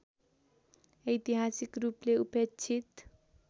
ऐतिहासिक रूपले उपेक्षित